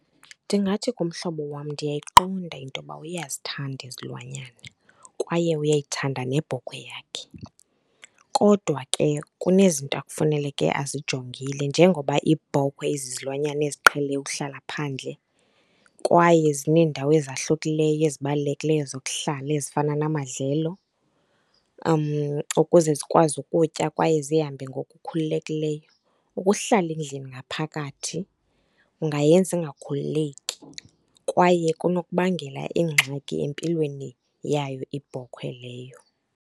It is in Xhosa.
Ndingathi kumhlobo wam ndiyayiqonda into yoba uyazithanda izilwanyana kwaye uyayithanda nebhokhwe yakhe. Kodwa ke kunezinto ekufaneleke azijongile njengoba iibhokhwe izizilwanyana eziqhele ukuhlala phandle kwaye zineendawo ezahlukileyo ezibalulekileyo zokuhlala ezifana namadlelo ukuze zikwazi ukutya kwaye zihambe ngokukhululekileyo. Ukuhlala endlini ngaphakathi kungayenza ingakhululeki kwaye kunokubangela iingxaki empilweni yayo iibhokhwe leyo.